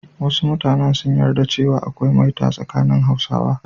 Wasu mutanen sun yarda cewa akwai maita a tsakanin Hausawa.